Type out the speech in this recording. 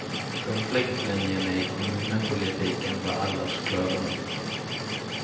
Konfliktlinjene i kommunepolitikken var ellers klare nok.